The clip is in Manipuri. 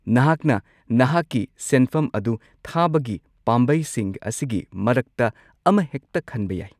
ꯅꯍꯥꯛꯅ ꯅꯍꯥꯛꯀꯤ ꯁꯦꯟꯐꯝ ꯑꯗꯨ ꯊꯥꯕꯒꯤ ꯄꯥꯝꯕꯩꯁꯤꯡ ꯑꯁꯤꯒꯤ ꯃꯔꯛꯇ ꯑꯃꯍꯦꯛꯇ ꯈꯟꯕ ꯌꯥꯏ꯫